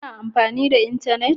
Ka na amfani da intanet